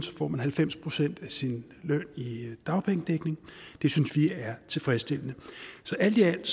får man halvfems procent af sin løn i dagpengedækning det synes vi er tilfredsstillende så alt i alt